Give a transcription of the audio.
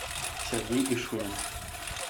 сергей ишунин